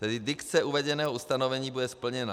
Tedy dikce uvedeného ustanovení bude splněna.